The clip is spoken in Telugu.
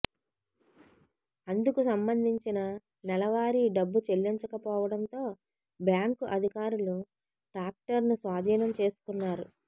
అందుకు సంబందించిన నెలవారీ డబ్బు చెల్లించక పోవడంతో బ్యాంకు అధికారులు ట్రాక్టర్ను స్వాధీనం చేసుకున్నారు